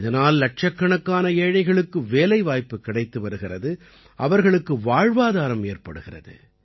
இதனால் இலட்சக்கணக்கான ஏழைகளுக்கு வேலைவாய்ப்பு கிடைத்து வருகிறது அவர்களுக்கு வாழ்வாதாரம் ஏற்படுகிறது